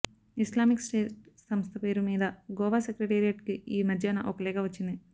Islamic State సంస్థ పేరు మీద గోవా సెక్రెటేరియట్ కి ఈ మధ్యాన ఒక లేఖ వచ్చింది